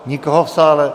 Nikoho v sále...